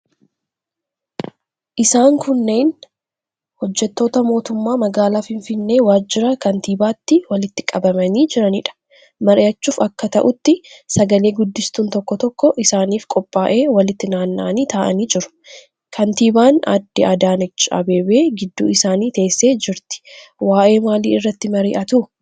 Isaan kunneen hojjettoota mootummaa magaalaa Finfinnee waajjira kantiibaatti walitti qabamanii jiraniidha. Mari'achuuf akka ta'utti sagale-guddistuun tokkoo tokkoo isaaniif qophaa'ee walitti naanna'anii taa'anii jiru. Kantiibaan Aadde Adaanech Abeebee gidduu isaanii teessee jirti. Waa'ee maalii irratti mari'atu?